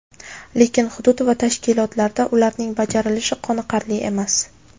Lekin hudud va tashkilotlarda ularning bajarilishi qoniqarli emas.